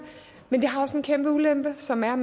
men det har også en kæmpe ulempe som er